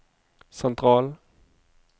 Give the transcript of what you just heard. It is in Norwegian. sentral